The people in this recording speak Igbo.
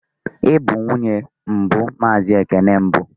Ị bụ nwunye mbụ Mazị Ekene mbụ?